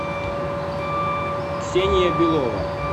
ксения белова